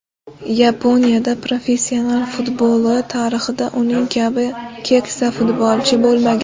Yaponiya professional futboli tarixida uning kabi keksa futbolchi bo‘lmagan.